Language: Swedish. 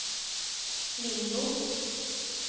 Lingbo